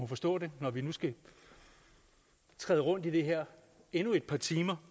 forstå det når vi nu skal træde rundt i det her endnu et par timer